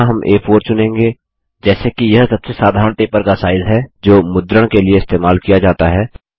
यहाँ हम आ4 चुनेंगे जैसे कि यह सबसे साधारण पेपर का साइज है जो मुद्रण के लिए इस्तेमाल किया जाता है